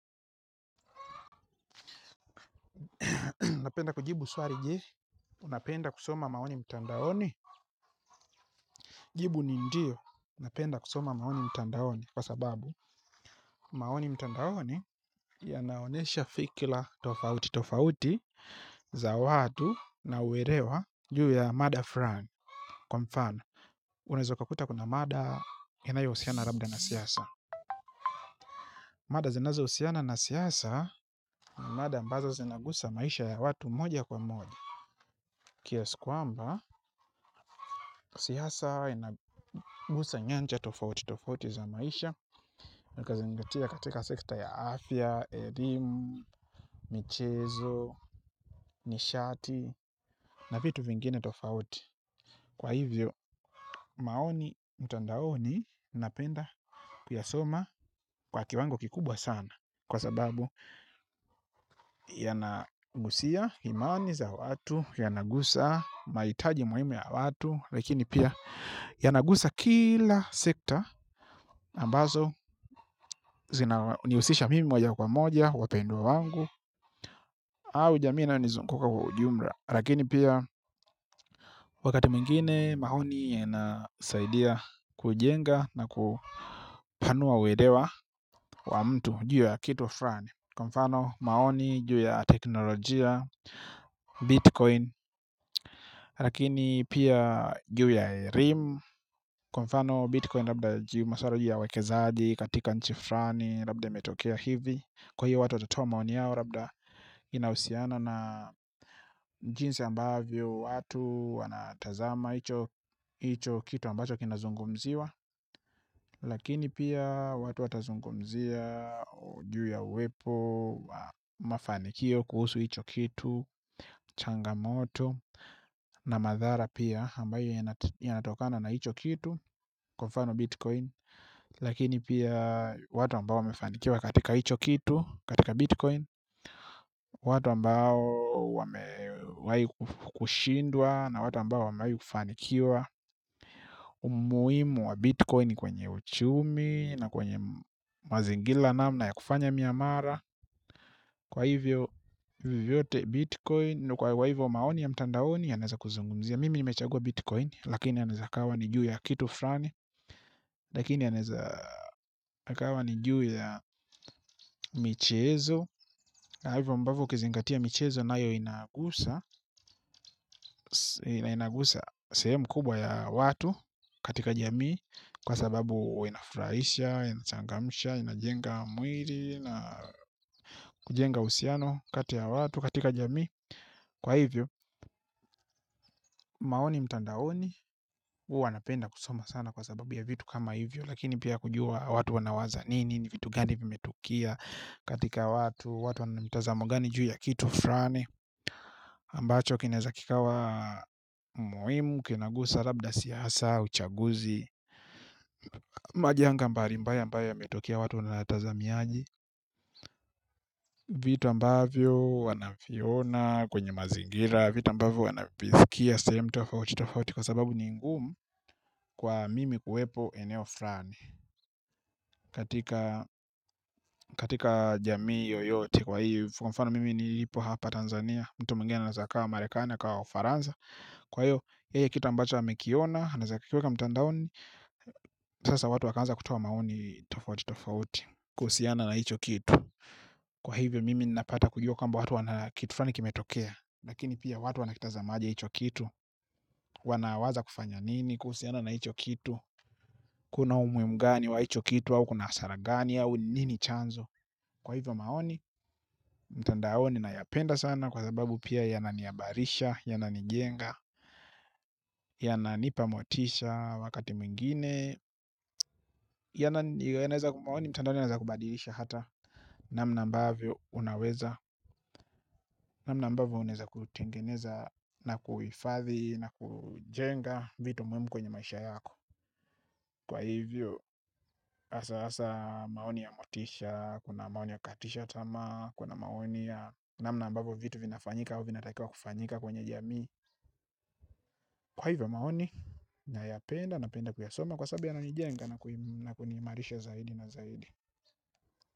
Unapenda kujibu swali je, unapenda kusoma maoni mtandaoni, jibu ni ndio, napenda kusoma maoni mtandaoni kwa sababu maoni mtandaoni yanaonyesha fikira tofauti, tofauti za watu na uelewa juu ya mada flani, kwa mfano, unaweza ukakuta kuna mada inayo husiana labda na siasa. Mada zinazo husiana na siasa ni mada mbazo zinagusa maisha ya watu moja kwa moja. Kiasi kwamba, siaasa inagusa nyanja tofauti tofauti za maisha na kuzingatia katika sekta ya afya, elimu, michezo, nishati na vitu vingine tofauti. Kwa hivyo, maoni mtandaoni napenda kuyasoma kwa kiwango kikubwa sana. Kwa sababu yanagusia imani za watu, yana gusa mahitaji muhimu ya watu lakini pia yanagusa kila sekta ambazo hunihusisha mimi moja kwa moja wapendwa wangu. Au jamii inayo nizunguka kwa ujumla lakini pia wakati mwingine maoni yanasaidia kujenga na kupanua uelewa wa mtu juu ya kitu mfulani kwa mfano maoni juu ya teknolojia bitcoin lakini pia juu ya rim kwa mfano bitcoin labda juu maswala juu ya uwekezaji katika nchi flani labda imetokea hivi kwa hiyo watu watotoa maoni yao labda inausiana na njinsi ambavyo watu wanatazama icho kitu ambacho kinazungumziwa lakini pia watu watazungumzia juu ya uwepo mafanikio kuhusu hicho kitu changamoto na madhara pia ambayo yanatokana na hicho kitu kwa mfano bitcoin lakini pia watu ambao wamefanikiwa katika hicho kitu katika bitcoin watu ambao wame kushindwa na watu ambao wamewahi kufanikiwa umuhimu wa bitcoin kwenye uchumi na kwenye mazingira namna ya kufanya miamala kwa hivyo vyote bitcoin kwa hivyo maoni ya mtandaoni yanaweza kuzungumzia mimi nimechagua bitcoin lakini yanaweza yakawa ni juu ya kitu flani lakini yanaweza yakawa ni juu ya michezo na hivyo ambavyo ukizingatia michezo nayo inagusa inagusa sehemu kubwa ya watu katika jamii kwa sababu huwa inafurahisha inangamsha inajenga mwili na kujenga uhusiano kati ya watu katika jamii. Kwa hivyo, maoni mtandaoni, hua wanapenda kusoma sana kwa sababu ya vitu kama hivyo, lakini pia kujua watu wanawaza nini, ni vitu gani vimetukoe katika watu, watu wana mitazamo gani juu ya kitu fulani, ambacho kinaweza kikawa muhimu, kinagusa labda siasa, uchaguzi, majanga mbali, mbali ambayo yametokea watu wanatazamiaji, vitu ambavyo wanaviona kwenye mazingira vitu ambavyo wanavisikia sehemu tofauti tofauti kwa sababu ni ngumu kwa mimi kuwepo eneo fulani katika jamii yoyote kwa hii kwa mfano mimi nilipo hapa Tanzania mtu mwingine anaweza akawa Marekani akawa ufaransa kwahiyo yeye kitu ambacho amekiona anaweza akakiweka mtandaoni sasa watu wakaanza kutoa maoni tofauti tofauti kuhusiana na hicho kitu kwa hivyo mimi napata kujua kwamba kitu fulani kimetokea lakini pia watu wanakitazamaje hicho kitu. Wanawaza kufanya nini, kuhusiana na hicho kitu. Kuna umuhimu gani wa hicho kitu au kuna hasara gani au nini chanzo. Kwa hivyo maoni, mtandaoni nayapenda sana kwa sababu pia yanani habarisha, yananiyenga, yananipa motisha wakati mwingine. Maoni mtandaoni yanaweza kukubadilisha hata namna ambayo unaweza. Namna ambavyo unaweza kutengeneza na kuhifadhi na kujenga vitu muhimu kwenye maisha yako. Kwa hivyo, hasa hasa maoni ya motisha, kuna maoni ya kukatisha tamaa, kuna maoni ya namna mbavo vitu vinafanyika au vina takiwa kufanyika kwenye jami. Kwa hivyo maoni, nayapenda napenda kuyasoma kwasabu yana nijenga na kunimarisha zaidi na zaidi.